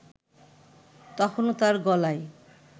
তখনও তার গলায়